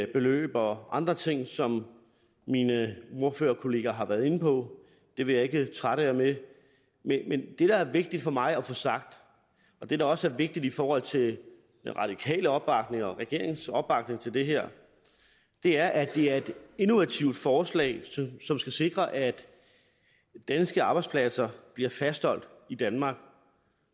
beløb og andre ting som mine ordførerkolleger har været inde på det vil jeg ikke trætte jer med men det der er vigtigt for mig at få sagt og det der også er vigtigt i forhold til den radikale opbakning og regeringens opbakning til det her er at det er et innovativt forslag som skal sikre at danske arbejdspladser bliver fastholdt i danmark